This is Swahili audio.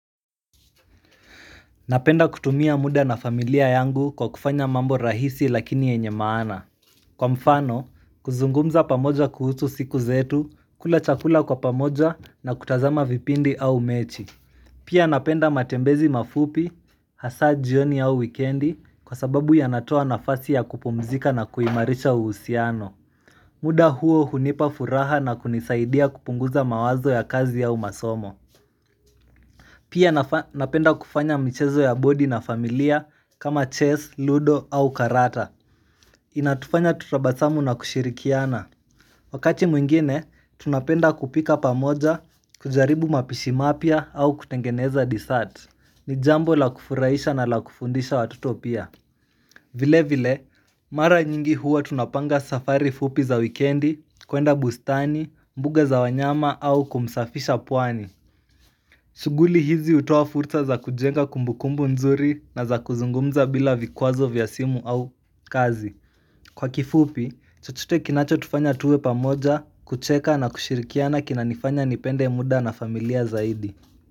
Napenda kutumia muda na familia yangu kwa kufanya mambo rahisi lakini yenye maana, kwa mfano kuzungumza pamoja kuhusu siku zetu, kula chakula kwa pamoja na kutazama vipindi au mechi. Pia napenda matembezi mafupi hasa jioni au wikendi kwa sababu yanatoa nafasi ya kupumzika na kuimarisha uhusiano muda huo hunipa furaha na kunisaidia kupunguza mawazo ya kazi au masomo Pia napenda kufanya michezo ya bodi na familia, kama chess, ludo au karata. Inatufanya tutabasamu na kushirikiana Wakati mwingine, tunapenda kupika pamoja, kujaribu mapishi mapya au kutengeneza dessert. Ni jambo la kufurahisha na la kufundisha watoto pia. Vile vile, mara nyingi huwa tunapanga safari fupi za wikendi, kwenda bustani, mbuga za wanyama au kumsafisha pwani shughuli hizi hutoa fursa za kujenga kumbukumbu nzuri na za kuzungumza bila vikwazo vya simu au kazi. Kwa kifupi, chochote kinachotufanya tuwe pamoja, kucheka na kushirikiana kinanifanya nipende muda na familia zaidi.